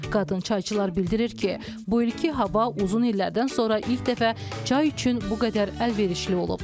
Qadın çayçılar bildirir ki, bu ilki hava uzun illərdən sonra ilk dəfə çay üçün bu qədər əlverişli olub.